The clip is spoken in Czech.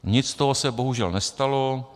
Nic z toho se bohužel nestalo.